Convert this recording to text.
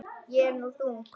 Ég er nú þung.